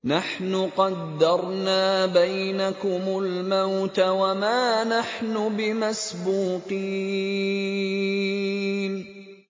نَحْنُ قَدَّرْنَا بَيْنَكُمُ الْمَوْتَ وَمَا نَحْنُ بِمَسْبُوقِينَ